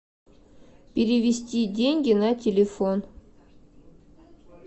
перевести деньги на телефон